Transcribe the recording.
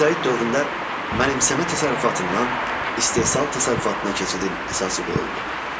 Mezolit dövründə mənimsəmə təsərrüfatından istehsal təsərrüfatına keçidin əsası qoyuldu.